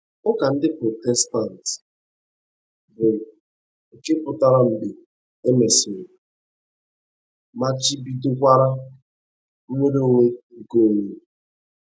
Ụka ndi Protestant, bụ́ nke pụtara mgbe e mesịrị, machibidokwara nnwere onwe nke onwe